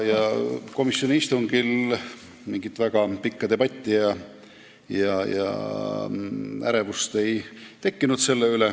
Komisjoni istungil ei tekkinud selle üle väga pikka debatti ega mingit ärevust.